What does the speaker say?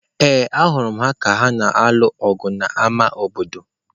Ee, ahụrụ m ha ka ha na-alụ ọgụ n'ámá obodo.